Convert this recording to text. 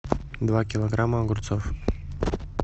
два килограмма огурцов